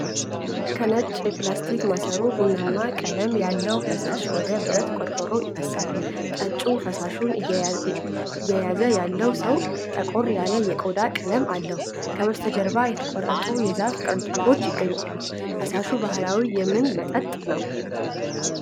ከነጭ የፕላስቲክ ማሰሮ ቡናማ ቀለም ያለው ፈሳሽ ወደ ብረት ቆርቆሮ ይፈሳል። ጠጪው ፈሳሹን እየያዘ ያለው ሰው ጠቆር ያለ የቆዳ ቀለም አለው። ከበስተጀርባ የተቆረጡ የዛፍ ቅርንጫፎች ይገኛሉ። ፈሳሹ ባህላዊ የምን መጠጥ ነው?